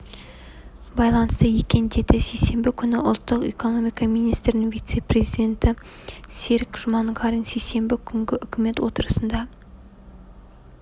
байланысты екен деді сейсенбі күні ұлттық экономика министрінің вице-министрі серік жұманғарин сейсенбі күнгі үкімет отырысында